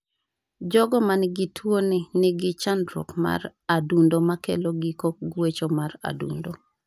Jogo man gi tuo ni nigi chandruok mar adundo makelo giko guecho mar adundo.